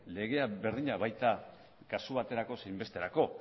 legea berdina baita kasu baterako zein besterako